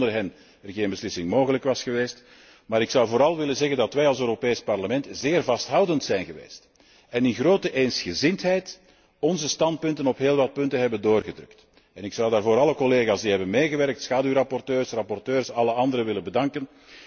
Ik denk dat er zonder hen geen beslissing mogelijk was geweest, maar vooral zou ik willen zeggen dat wij als Europees Parlement zeer vasthoudend zijn geweest en in grote eensgezindheid onze standpunten op heel wat punten hebben doorgedrukt. Ik zou daarvoor alle collega's die hebben meegewerkt, schaduwrapporteurs, rapporteurs en alle anderen willen bedanken.